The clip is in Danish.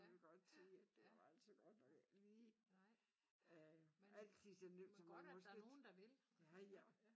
Vil godt sige at det var altså godt nok ikke lige øh altid så nemt som man måske ja ja